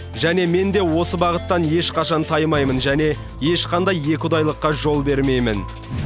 және мен де осы бағыттан ешқашан таймаймын және ешқандай екіұдайылыққа жол бермеймін